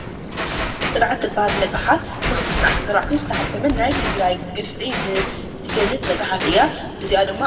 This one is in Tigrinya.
ፅንዓት እትብሃል መፅሓፍ ብ2014 ዓ/ም ዝተሓተመት ናይ ትግራይ ግፍዒ እትገልፅ መፅሓፍ እያ እዚኣ ድማ ፡፡